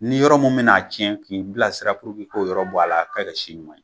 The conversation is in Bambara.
Ni yɔrɔ mun men'a cɛn k'i bilasira puruke i k'o yɔrɔ bɔ a la k'a kɛ si ɲuman ye